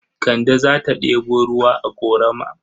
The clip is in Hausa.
Kande za ta ɗebo ruwa a ƙorama.